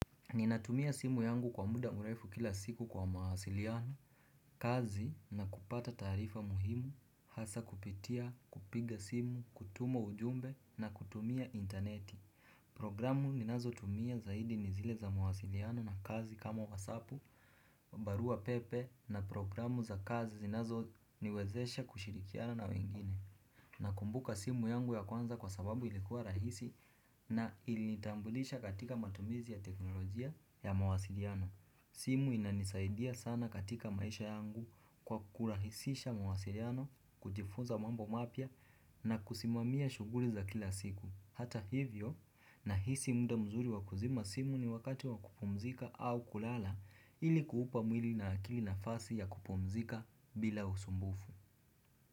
Ninatumia simu yangu kwa muda mrefu kila siku kwa mawasiliano, kazi na kupata taarifa muhimu, hasa kupitia, kupiga simu, kutuma ujumbe na kutumia interneti Programu ninazotumia zaidi ni zile za mawasiliano na kazi kama wasapu, barua pepe na programu za kazi zinazoniwezesha kushirikiana na wengine Nakumbuka simu yangu ya kwanza kwa sababu ilikuwa rahisi na ilinitambulisha katika matumizi ya teknolojia ya mawasiliano. Simu inanisaidia sana katika maisha yangu kwa kurahisisha mawasiliano, kujifunza mambo mapya na kusimamia shughuli za kila siku. Hata hivyo nahisi muda mzuri wa kuzima simu ni wakati wa kupumzika au kulala ili kuupa mwili na akili nafasi ya kupumzika bila usumbufu.